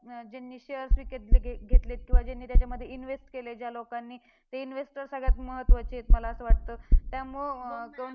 ज्यांनी shares विकत घेत घेतलेत किंवा ज्यांनी त्याच्यामध्ये invest केले ज्या लोकांनी, ते investor सगळ्यात महत्वाचे आहेत मला असं वाटतं. त्यामुळं